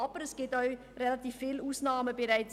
Aber es gibt bereits heute relativ viele Ausnahmen.